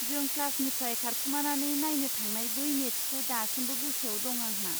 जों क्लासनिफ्राय खारखुमानानै नायनो थांनाय बै मेटचखौ दासिमबो गोसोआव दं आंहा।